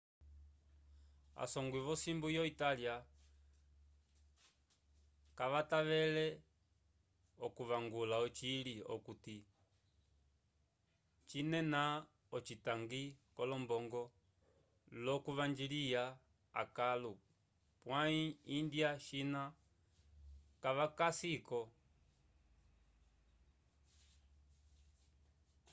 a songwi vo simbu ya italia kavatavele o kuvangula ocili okuti cinena ocitangi ko lombongo lo kuvanjiliya akalo pwayi india china kavaka si ko